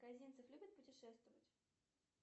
козинцев любит путешествовать